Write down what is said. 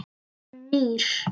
Hann nýr.